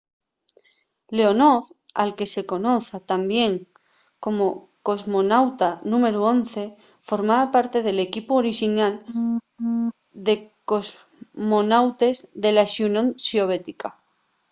leonov al que se conoz tamién como cosmonauta númberu 11” formaba parte del equipu orixinal de cosmonautes de la xunión soviética